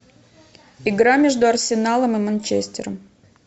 игра между арсеналом и манчестером